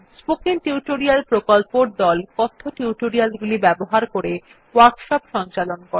spoken tutorial প্রকল্পর দল কথ্য টিউটোরিয়াল গুলি ব্যবহার করে ওয়ার্কশপ সঞ্চালন করে